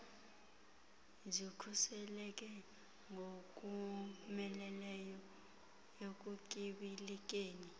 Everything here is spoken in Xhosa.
zikhuseleke ngokomeleleyo ekutyibilikeni